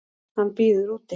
Hann bíður úti.